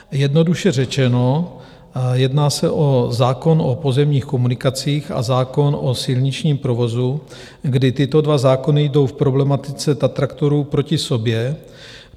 Jednoduše řečeno, jedná se o zákon o pozemních komunikacích a zákon o silničním provozu, kdy tyto dva zákony jdou v problematice tatraktorů proti sobě.